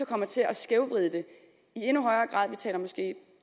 kommer til at skævvride det vi taler måske